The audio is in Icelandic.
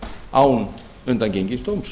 án undangengins dóms